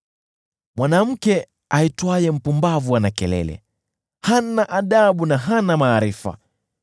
Mwanamke aitwaye Mpumbavu ana kelele; hana adabu na hana maarifa.